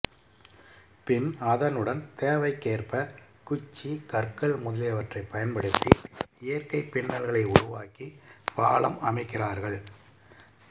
பின் அதனுடன் தேவைக்கேற்ப குச்சி கற்கள் முதலியவற்றை பயன்படுத்தி இயற்கை பின்னல்களை உருவாக்கி பாலம் அமைக்கிறார்கள்